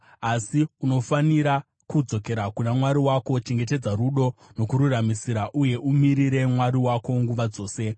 Asi unofanira kudzokera kuna Mwari wako; chengetedza rudo nokururamisira, uye umirire Mwari wako nguva dzose.